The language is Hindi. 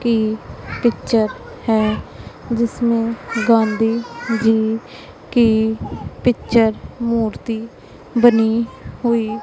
के पिक्चर है जिसमें गांधी जी की पिक्चर मूर्ति बनी हुई--